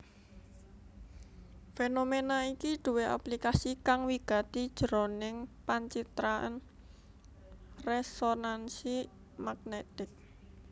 Fénoména iki duwé aplikasi kang wigati jroning pancitraan résonansi magnètik